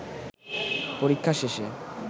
পরীক্ষা শেষে